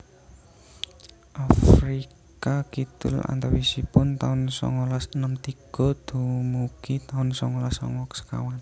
Afrika Kidul antawisipun taun songolas enem tiga dumugi taun songolas songo sekawan